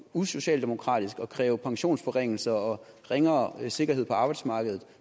usocialdemokratisk at kræve pensionsforringelser og ringere sikkerhed på arbejdsmarkedet